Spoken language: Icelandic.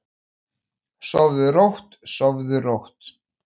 Sofðu rótt, sofðu rótt.